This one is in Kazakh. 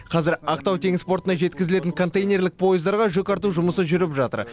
қазір ақтау теңіз портына жеткізілетін контейнерлік пойыздарға жүк арту жұмысы жүріп жатыр